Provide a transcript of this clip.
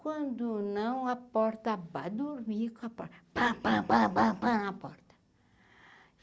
Quando não a porta ba, dormi com a porta pan pan pan pan pan a porta.